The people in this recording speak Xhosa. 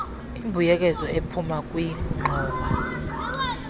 imbuyekezo ephuma kwingxowa